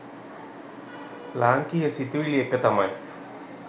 ලාංකීය සිතුවිලි එක තමයි